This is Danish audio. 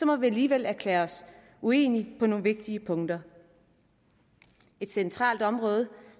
må vi alligevel erklære os uenige på nogle vigtige punkter et centralt område